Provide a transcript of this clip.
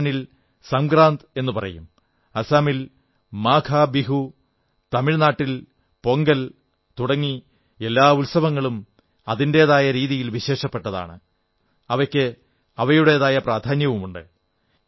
രാജസ്ഥാനിൽ സംക്രാന്ത് എന്നു പറയും അസമിൽ മാഘബിഹു തമിഴ് നാടിൽ പൊങ്കൽ തുടങ്ങി എല്ലാ ഉത്സവങ്ങളും അതിന്റെതായ രീതിയിൽ വിശേഷപ്പെട്ടതാണ് അവയ്ക്ക് അവയുടേതായ പ്രാധാന്യവുമുണ്ട്